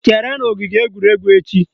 Chere n'ogige egwuregwu echi!